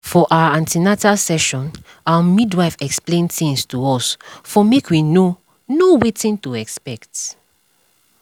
for our an ten atal session our midwife explain tins to us for make we know know wetin to expect